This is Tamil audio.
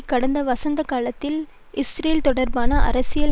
கடந்த வசந்த காலத்தில் இஸ்ரேல் தொடர்பான அரசியல்